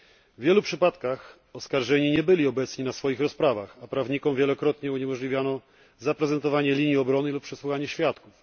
W wielu przypadkach oskarżeni nie byli obecni na rozprawach, a prawnikom wielokrotnie uniemożliwiano zaprezentowanie linii obrony i przesłuchanie świadków.